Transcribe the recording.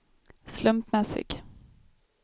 slumpmässig